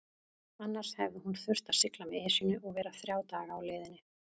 Annars hefði hún þurft að sigla með Esjunni og vera þrjá daga á leiðinni.